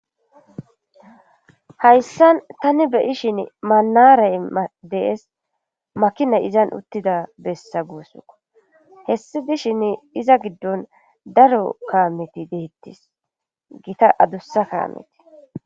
hayssan tani beyi shin manaray dees makinay izan uttida bessa guussko hessi dishin iza giddon daro kaameti deettis gita adussa kaameti